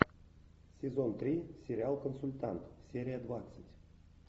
сезон три сериал консультант серия двадцать